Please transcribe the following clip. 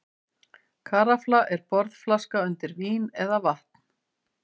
Karafla er borðflaska undir vín eða vatn.